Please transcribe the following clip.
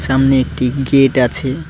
সামনে একটি গেট আছে।